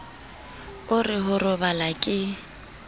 o re ho robala ke